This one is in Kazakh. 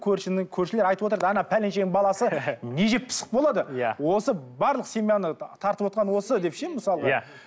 көршілер айтып отырады пәленшенің баласы не жеп пысық болады иә осы барлық семьяны тартып отырған осы деп ше мысалға иә